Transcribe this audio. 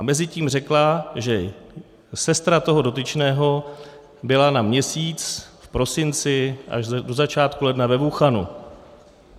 A mezitím řekla, že sestra toho dotyčného byla na měsíc v prosinci až do začátku ledna ve Wu-chanu.